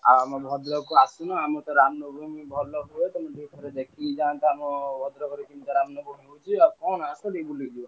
ଆଉ ଆମ ଭଦ୍ରକକୁ ଆସୁନ ଆମରତ ରାମନବମୀ ଭଲ ହୁଏ ତମେ ଟିକେ ହେଲେ ଦେଖିକି ଜାଅନ୍ତ ଆମ ଭଦ୍ରକରେ କିମିତିଆ ରାମନବମୀ ହଉଛି ଆଉ କଣ ଆସ ଟିକେ ବୁଲିକି ଯିବ।